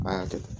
A y'a kɛ ten